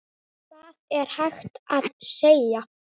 Hvað er hægt að segja.